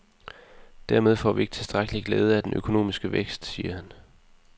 Dermed får vi ikke tilstrækkeligt glæde af den økonomiske vækst, siger han.